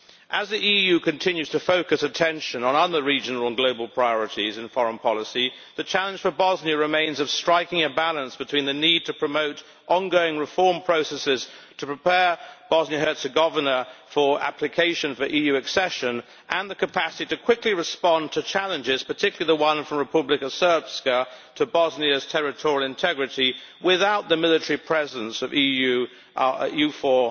As the EU continues to focus attention on other regional and global priorities and foreign policy, the challenge for Bosnia remains of striking a balance between the need to promote ongoing reform processes to prepare Bosnia and Herzegovina for application for EU accession, and the capacity to quickly respond to challenges, particularly the one from Republika Srpska to Bosnia's territorial integrity without the military presence of the EU's EUFOR